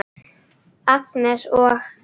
Agnes og